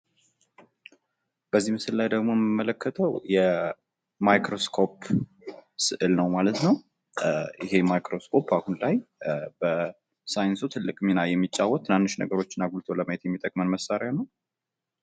በዚህ ምስል ላይ ደግሞ የምንመለከተው የማይክሮስኮፕ ስእል ነው ማለት ነው። ይሄ ማይክሮስኮፕ አሁን ላይ በሳይንሱ ትልቅ ሚና የሚጫወት ትናንሽ ነገሮችን አጉልቶ ለማየት የሚጠቅመን መሳርያ ነው።